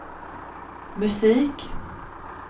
musik